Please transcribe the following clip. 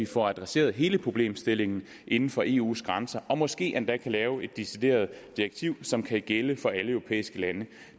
få adresseret hele problemstillingen inden for eus grænse og måske endda lave et decideret direktiv som kan gælde for alle europæiske lande